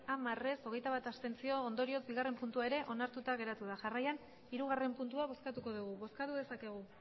hamar abstentzioak hogeita bat ondorioz bigarrena puntua ere onartuta geratu da jarraian hirugarrena puntua bozkatuko dugu bozkatu dezakegu